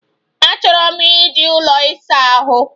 Achọrọ m iji ụlọ ịsa ahụ.